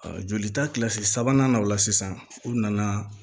jolita kilasi sabanan na o la sisan u nana